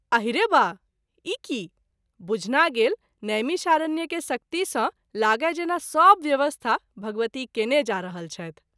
आहिरे बा ! ई की ? बुझना गेल नैमिषारण्य के शक्ति सँ लागय जेना सभ व्यवस्था भगवती केने जा रहल छथि।